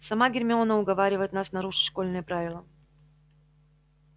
сама гермиона уговаривает нас нарушить школьные правила